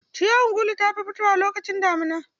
Ciyawar gulu ta fi fitowa lokacin damuna.